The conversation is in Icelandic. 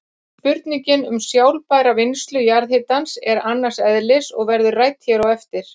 Spurningin um sjálfbæra vinnslu jarðhitans er annars eðlis og verður rædd hér á eftir.